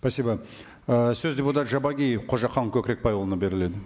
спасибо ы сөз депутат жабағиев қожахан көкірекбайұлына беріледі